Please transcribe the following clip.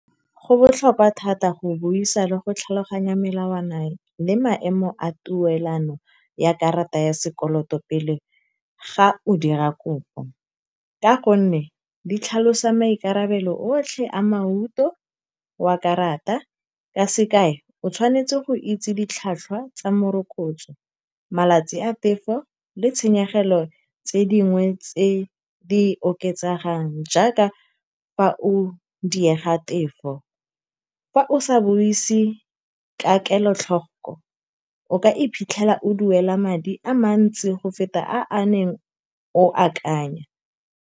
Go botlhokwa thata go buisa le go tlhaloganya melawana le maemo a tuelano ya karata ya sekoloto pele ga o dira kopo, ka gonne di tlhalosa maikarabelo otlhe a wa karata. Ka sekai, o tshwanetse go itse ditlhwatlhwa tsa morokotso, malatsi a tefo, le tshenyegelo tse dingwe tse di oketsegang jaaka fa o diega tefo. Fa o sa buise ka kelotlhoko, o ka iphitlhela o duela madi a mantsi go feta a a neng o a akanya.